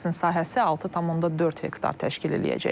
Kompleksin sahəsi 6,4 hektar təşkil eləyəcək.